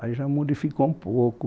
Aí já modificou um pouco.